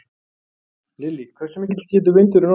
Lillý: Hversu mikill getur vindurinn orðið?